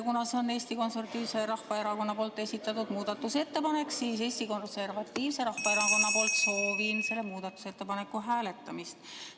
Kuna see on Eesti Konservatiivse Rahvaerakonna esitatud muudatusettepanek, siis soovin Eesti Konservatiivse Rahvaerakonna nimel selle muudatusettepaneku hääletamist.